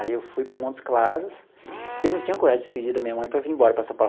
Aí eu fui para Montes Claros, porque eu não tinha coragem de despedir da minha mãe para vim embora para São Paulo.